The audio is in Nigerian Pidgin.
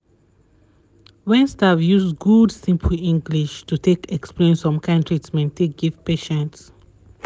wen staff use good simple english to take explain some kind treatment take give patients